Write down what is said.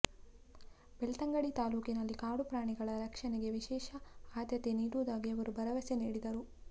ಬೆಳ್ತಂಗಡಿ ತಾಲ್ಲೂಕಿನಲ್ಲಿ ಕಾಡು ಪ್ರಾಣಿಗಳ ರಕ್ಷಣೆಗೆ ವಿಶೇಷ ಆದ್ಯತೆ ನೀಡುವುದಾಗಿ ಅವರು ಭರವಸೆ ನೀಡಿದರು